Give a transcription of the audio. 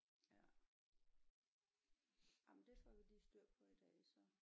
Ja jamen det får vi lige styr på i dag så